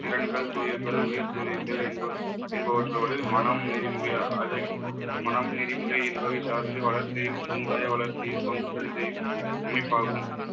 திறன்கள், தொழில்கள் உயர் தொழில்கள் என்ப~ என்பவற்றோடு மனம் நெறிமுறையா அழை~ மனம் நெறிமுறை என்பதை சார்ந்து வளர்ச்சியும் சமுதாய வளர்ச்சியில் பங்கு பெற செய்யும் அமைப்பாகும்